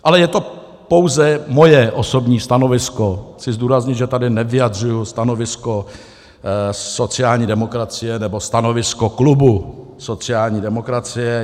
Ale je to pouze moje osobní stanovisko, chci zdůraznit, že tady nevyjadřuji stanovisko sociální demokracie nebo stanovisko klubu sociální demokracie.